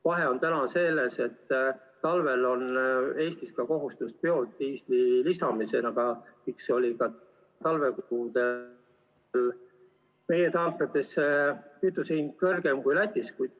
Vahe on selles, et ka talvel oli Eestis kohustus lisada biodiislit ja seepärast oli ka talvekuudel meie tanklates kütuse hind kõrgem kui Lätis.